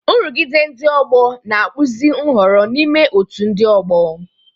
Nrụgide ndị ọgbọ na-akpụzi nhọrọ n'ime otú ndị ọgbọ.